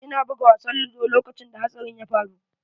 Ina buga wasan ludo lokacin da hatsarin ya faru.